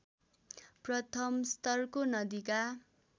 प्रथमस्तरको नदीका